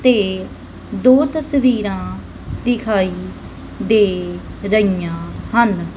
ਤੇ ਦੋ ਤਸਵੀਰਾਂ ਦਿਖਾਈ ਦੇ ਰਹੀਆਂ ਹਨ।